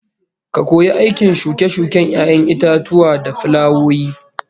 Ka koyi aikin shuke-shuken 'ya'yan itatuwa da fulawoyi